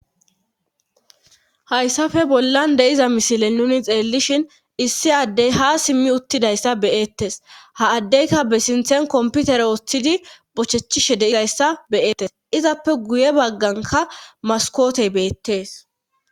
Hayssafe bollan deiza misile nuni xeellishhin issi addey ha simmi uttidayssa beyeettes ha addeyka be sinthen komputer ooththidi bochechishe deidayssa beyettes izappe guye bagganka maskootey beettees.